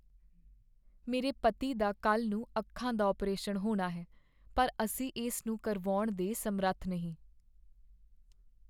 ਮੇਰੇ ਪਤੀ ਦਾ ਕੱਲ੍ਹ ਨੂੰ ਅੱਖਾਂ ਦਾ ਅਪਰੇਸ਼ਨ ਹੋਣਾ ਹੈ ਪਰ ਅਸੀਂ ਇਸ ਨੂੰ ਕਰਵਾਉਣ ਦੇ ਸਮਰੱਥ ਨਹੀਂ।